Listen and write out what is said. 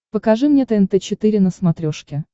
покажи мне тнт четыре на смотрешке